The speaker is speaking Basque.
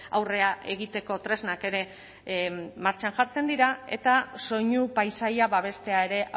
aurrera egiteko tresnak ere martxan jartzen dira eta soinu paisaia babestea ere